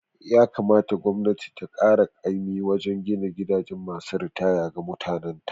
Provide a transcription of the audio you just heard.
Ya kamata gwamnati ta kara kaimin wajen gina gidan masu ritaya ga mutanan ta